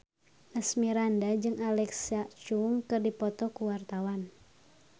Asmirandah jeung Alexa Chung keur dipoto ku wartawan